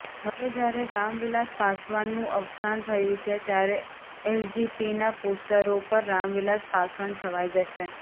હવે જ્યારે રામવિલાસ પાસવાનનું અવસાન થયુ છે ત્યારે એલજેપીના પોસ્ટરો પર રામવિલાસ પાસવાન છવાઈ જશે